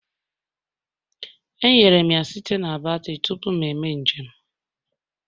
Enyere m ya site na batrị tupu m eme njem